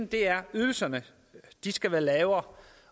det er ydelserne de skal være lavere